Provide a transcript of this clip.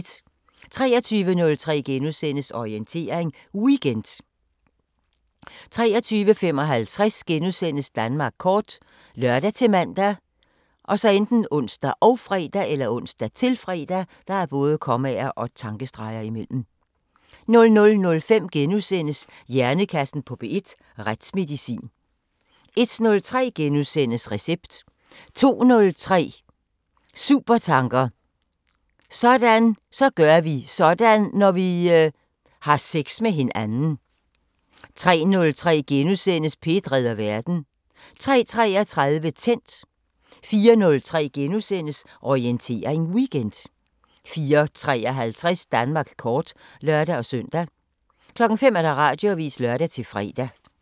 23:03: Orientering Weekend * 23:55: Danmark kort *( lør-man, ons, -fre) 00:05: Hjernekassen på P1: Retsmedicin * 01:03: Recept * 02:03: Supertanker: Så gør vi sådan, når vi ... har sex med hinanden 03:03: P1 redder verden * 03:33: Tændt 04:03: Orientering Weekend * 04:53: Danmark kort (lør-søn) 05:00: Radioavisen (lør-fre)